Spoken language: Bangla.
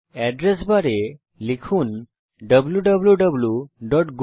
অ্যাড্রেস বারে লিখুন ডব্লুউ